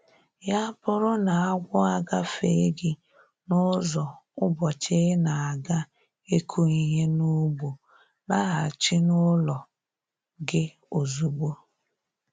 Ya bụrụ n'agwọ agafee gị n'ụzọ ụbọchị ị na-aga ịkụ ihe n'ugbo, laghachi n'ụlọ gị ozugbo